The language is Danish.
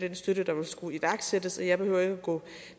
den støtte der vil skulle iværksættes jeg behøver ikke at gå